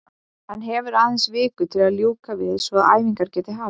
Hann hefur aðeins viku til að ljúka því svo að æfingar geti hafist.